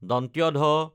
ধ